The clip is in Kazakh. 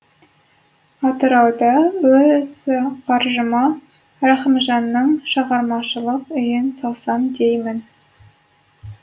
атыраудан өз қаржыма рахымжанның шығармашылық үйін салсам деймін